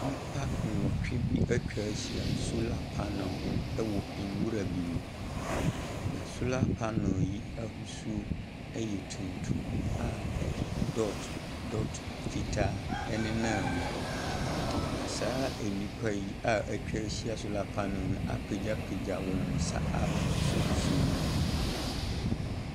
Nnipa nwɔtwe atwa ahyia solar panels ho wɔ nwura bi mu, na solar panels yi ahosuo yɛ tuntum a dot dot fitaa nenam mu, na saa nnipa yi a atwa ahyia solar panels no apagyapagya wɔn nsa a wɔasosɔsosɔ mu.